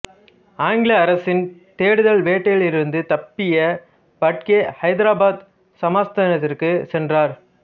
ஆங்கில அரசின் தேடுதல் வேட்டையிலிருந்து தப்பிய பட்கே ஹைதராபாத் சமஸ்தானத்திற்கு சென்றார்